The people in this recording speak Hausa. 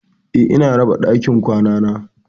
Eh, ina da raɓa a dakin kwanana.